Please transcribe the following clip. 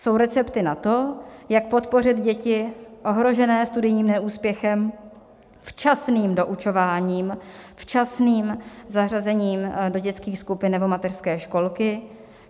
Jsou recepty na to, jak podpořit děti ohrožené studijním neúspěchem včasným doučováním, včasným zařazením do dětských skupin nebo mateřské školky.